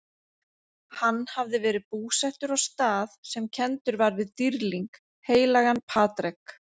Hann hafði verið búsettur á stað sem kenndur var við dýrling, heilagan Patrek?